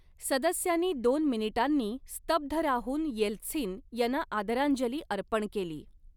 सदस्यांनी दोन मिनिटांनी स्तब्ध राहून येल्त्सिन यांना आदरांजली अर्पण केली.